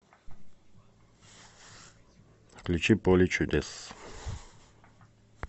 включи поле чудес